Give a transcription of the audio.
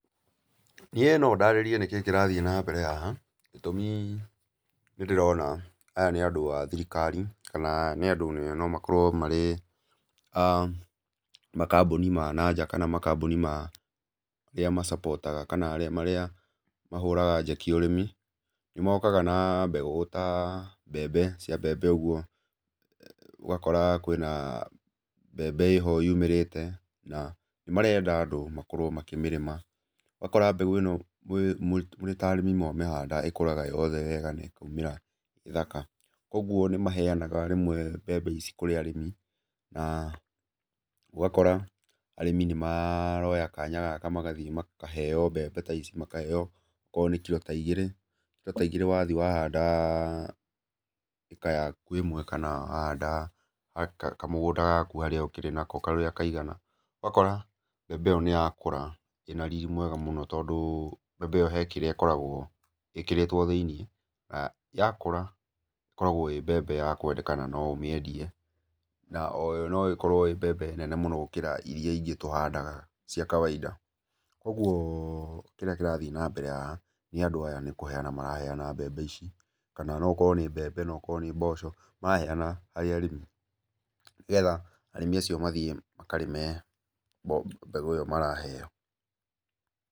Niĩ no ndarĩrie kĩrĩa kĩrathiĩ na mbere haha gĩtũmi nĩ ndĩrona aya nĩ andũ a thirikari, kana nĩ andũ nomakorwo marĩ a makambũni ma nanja kana makambũni marĩa macabũtaga kana marĩa mahũraga njeki ũrĩmi, nĩ mokaga na mbegũ ta mbembe cia mbembe ũguo, ũgakora kwĩna mbembe ĩho yumĩrĩte na marenda andũ makorwo makĩmĩrĩma. Ũgakora mbegũ ĩno mwĩ mũrĩ ta arĩmi mwamĩhanda ĩkũraga yothe wega na ĩkoimĩra ĩ thaka. Koguo nĩ maheanaga mbembe ici kũrĩ arĩmi na ũgakora arĩmi nĩ maroya kanya gaka magathiĩ makaheo mbembe ta ici, makaheo ko nĩ kiro ta igĩrĩ, kiro ta igĩrĩ wathiĩ wahanda ĩka yaku ĩmwe kana wahanda kamũgũnda gaku harĩa ũkĩrĩ nako karĩa kaigana, ũgakora mbembe ĩyo nĩyakũra ĩna riri mwega mũno tondũ mbembe ĩyo he kĩrĩa ĩkoragwo ĩkĩrĩtwo thĩ-inĩ, na yakũra ĩkoragwo ĩ mbembe ya kwendeka na no ũmĩendie, na oyo no ĩkorwo ĩ mbembe nene mũno ona gũkĩra iria ingĩ tũhandaga cia kawainda. Koguo kĩrĩa kĩrathiĩ na mbere haha nĩ andũ aya nĩ kũheana maraheana mbembe ici, kana no ũkorwo nĩ mbembe, no ũkorwo nĩ mboco maraheana harĩ arĩmi nĩgetha arĩmi acio mathiĩ makarĩme mbeũ ĩyo maraheo.